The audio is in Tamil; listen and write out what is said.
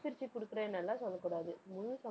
பிரிச்சு கொடுக்குறேன்னு எல்லாம் சொல்லக்கூடாது. முழு ச~